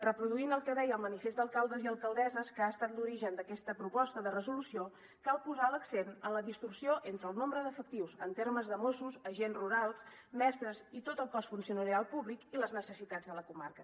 reproduint el que deia el manifest d’alcaldes i alcaldesses que ha estat l’origen d’aquesta proposta de resolució cal posar l’accent en la distorsió entre el nombre d’efectius en termes de mossos agents rurals mestres i tot el cos funcionarial públic i les necessitats de la comarca